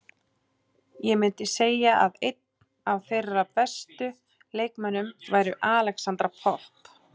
Ég myndi segja að einn af þeirra bestu leikmönnum væri Alexandra Popp.